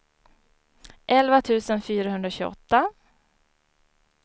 elva tusen fyrahundratjugoåtta